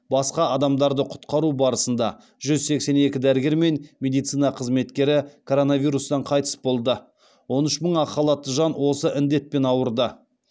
басқа адамдарды құтқару барысында жүз сексен екі дәрігер мен медицина қызметкері коронавирустан қайтыс болды он үш мың ақ халатты жан осы індетпен ауырды